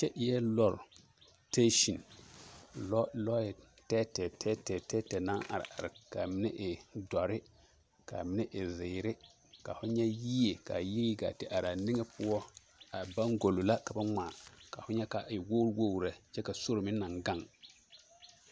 Kyɛ eɛ lɔre siteesin, lɔɛ tɛɛtɛɛ tɛɛtɛɛ tɛɛtɛɛ naŋ are k'a mine e dɔre, k'a mine e zeere, ka ho nyɛ yie k'a yie gaa te are poɔ, a baŋgolo la ka ba ŋmaa, ka ho nyɛ k'a e wogiri wogiri lɛ kyɛ ka sori meŋ naŋ gaŋ.